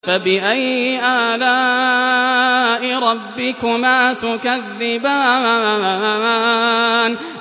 فَبِأَيِّ آلَاءِ رَبِّكُمَا تُكَذِّبَانِ